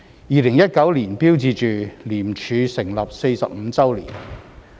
2019年標誌着廉署成立45周年。